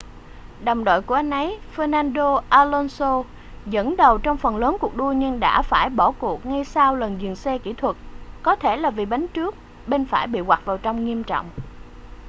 đồng đội của anh ấy fernando alonso dẫn đầu trong phần lớn cuộc đua nhưng đã phải bỏ cuộc ngay sau lần dừng xe kỹ thuật có thể là vì bánh trước bên phải bị quặt vào trong nghiêm trọng